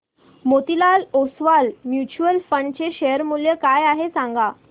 Motilal Oswal mutual fund चे share मूल्य काय आहे सांगा